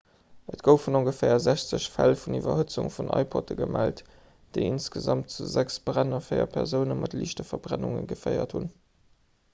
et goufen ongeféier 60 fäll vun iwwerhëtzung vun ipodde gemellt déi insgesamt zu sechs bränn a véier persoune mat liichte verbrennunge geféiert hunn